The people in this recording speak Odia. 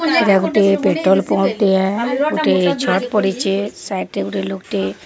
ଏଟା ଗୋଟିଏ ପେଟ୍ରୋଲ ପମ୍ପ ଟିଏ। ଗୋଟିଏ ଛଡ୍ ପଡ଼ିଚେ। ସାଇଟ୍ ରେ ଗୋଟେ ଲୋକଟେ --